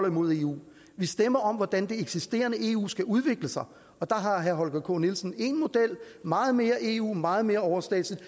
imod eu vi stemmer om hvordan det eksisterende eu skal udvikle sig der har herre holger k nielsen én model meget mere eu meget mere overstatsligt